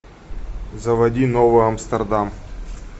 заводи новый амстердам